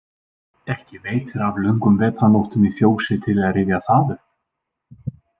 Ekki veitir af löngum vetrarnóttum í fjósi til að rifja það upp.